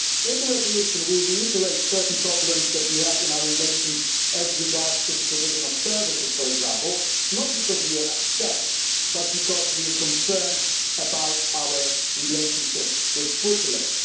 In the resolution we reiterate certain problems that we have in our relations as regards the provision of services, for example, not because we are upset, but because we are concerned about our relationship with Switzerland.